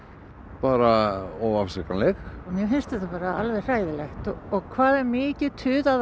bara óafsakanleg mér finnst þetta bara alveg hræðilegt og hvað það er mikið tuðað